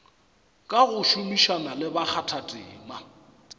ka go šomišana le bakgathatema